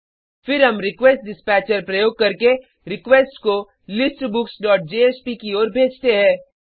फिर हम रिक्वेस्टडिस्पैचर प्रयोग करके रिक्वेस्ट को listbooksजेएसपी की ओर भेजते है